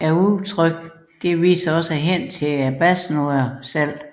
Udtrykket henviser også til basnoderne selv